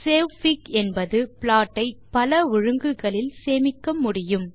savefig என்பது plot ஐ பல ஒழுங்குகளில் சேமிக்க முடியும்